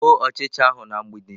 Gbuo ọchịcha ahụ na mgbidi!